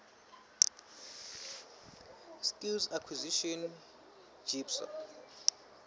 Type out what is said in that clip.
skills acquisition jipsa